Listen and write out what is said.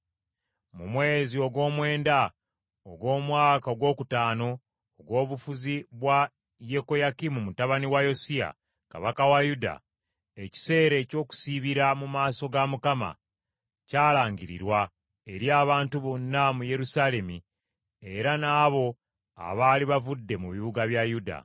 Mu mwezi ogwomwenda ogw’omwaka ogwokutaano ogw’obufuzi bwa Yekoyakimu mutabani wa Yosiya kabaka wa Yuda, ekiseera eky’okusiibira mu maaso ga Mukama kyalangirirwa eri abantu bonna mu Yerusaalemi era n’abo abaali bavudde mu bibuga bya Yuda.